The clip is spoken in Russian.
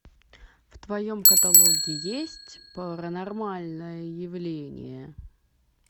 в твоем каталоге есть паранормальное явление